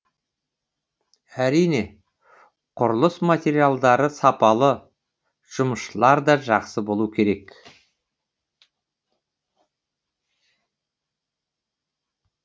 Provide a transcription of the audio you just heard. әрине құрылыс материалдары сапалы жұмысшылар да жақсы болу керек